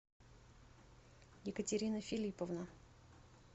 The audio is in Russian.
екатерина филипповна